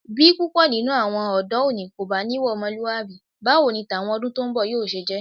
Bí púpọ̀ nínú àwọn ọ̀dọ́ òní kò bá níwà ọmọlúwàbí, báwo ni tàwọn ọdún tó ń bọ̀ yóò ṣe jẹ́.